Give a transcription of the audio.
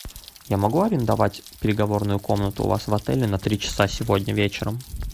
я могу арендовать переговорную комнату у вас в отеле на три часа сегодня вечером